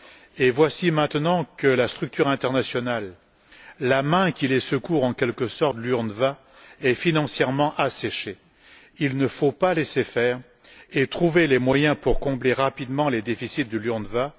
et voici maintenant que la structure internationale, la main qui les secourt en quelque sorte, l'UNRWA, est financièrement asséchée. Il ne faut pas laisser faire, mais trouver les moyens pour combler rapidement les déficits de l'UNRWA.